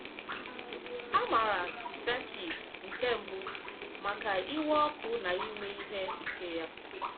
A maara Xerkis nke Mbụ maka iwe ọkụ na ime ihe ike ya.